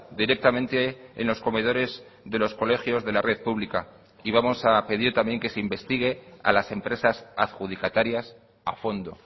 directamente en los comedores de los colegios de la red pública y vamos a pedir también que se investigue a las empresas adjudicatarias a fondo